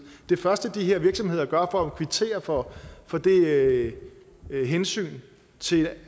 det første de her virksomheder gør for at kvittere for for det hensyn til